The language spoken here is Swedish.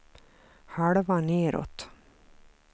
halva nedåt